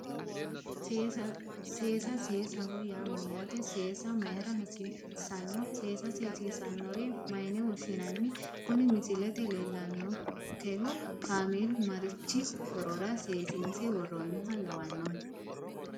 Seesa seesaho yaa mayyaate seesa mayra hasiissanno seesa seesiissannore mayne woshshinanni kuni misilete leellannonkehu kaameelu marichi horora seesiinse worroonniha lawannohe